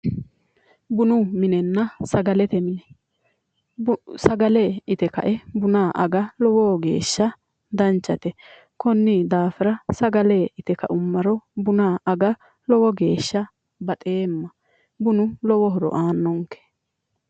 bunu minenna sagalete mine sagale ite kae buna aga lowo geeshsha danchate konni daafira sagale ite ka'umaro buna aga lowo geeshsha baxeemma bunu lowo horo aannonke.